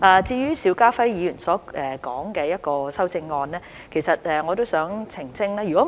至於邵家輝議員所提的修正案，我亦想作澄清。